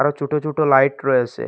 অনেক ছুটো ছুটো লাইট রয়েসে ।